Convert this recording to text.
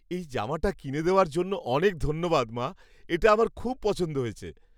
এই জামাটা কিনে দেওযার জন্য অনেক ধন্যবাদ, মা! এটা আমার খুব পছন্দ হয়েছে।